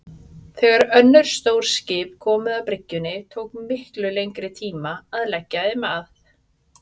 Þegar önnur stór skip komu að bryggjunni tók miklu lengri tíma að leggja þeim að.